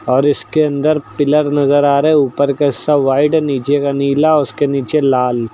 और इसके अंदर पिलर नजर आ रहे हैं ऊपर के सब व्हाइट नीचे का नीला उसके नीचे लाल।